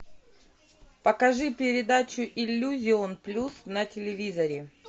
покажи передачу иллюзион плюс на телевизоре